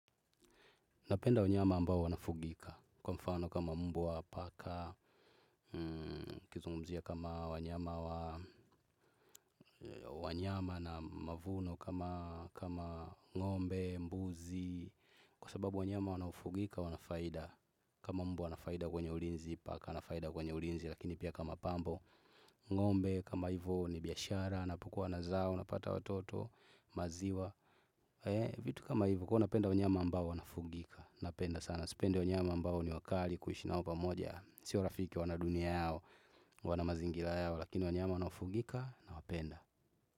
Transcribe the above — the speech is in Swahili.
Napenda wanyama ambao wanafugika. Kwa mfano kama mbwa wa paka, kizungumzia kama wanyama na mavuno kama ngombe, mbuzi. Kwa sababu wanyama wanafugika, wanafaida. Kama mbwa wanafaida kwenye ulinzi, paka wanafaida kwenye ulinzi. Lakini pia kama pambo, ngombe, kama hivo ni biyashara, napokua na zao, napata watoto, maziwa. Vitu kama hivi huwa napenda wanyama ambao wanafugika. Napenda sana sipendi wanyama ambao ni wakali kuishi nao pamoja sio rafiki, wana dunia yao wana mazingira yao lakini wanyama wanaofugika na wapenda.